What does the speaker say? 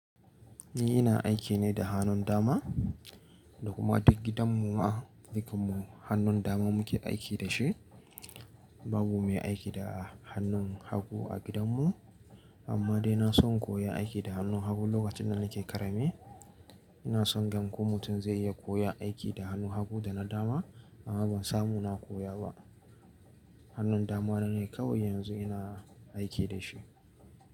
Ni ina aiki ne da hannun dama, da kuma duk gidan mu ma dukanmu hannun dama muke aiki da shi. Babu mai aiki da hannun hagu a gidan mu. Amma dai na son koya aiki da hannun hagu lokacin da nake ƙarami. Ina son gan ko mutum zai iya koya aiki da hannu hagu da na dama, amma ban samu na koya ba. Hannun dama na ne kawai yanzu ina aiki da shi.